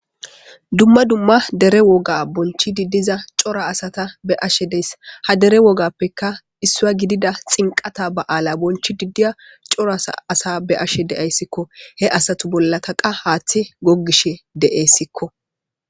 Dumma dumma dere woga bonchdi diza cora asata be'ashe dayisi ha dere wogappekka Issuwa gida xinqata ba'ala bochidi diya cora asa be'ashe de'aysikko he asatu bollakka hathey gogishe de'esikko